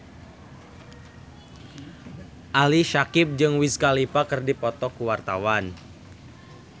Ali Syakieb jeung Wiz Khalifa keur dipoto ku wartawan